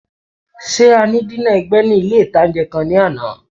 Ṣé a ní dínà ẹ̀gbẹ́ ní ilé-ìtánjẹ kan ní àná?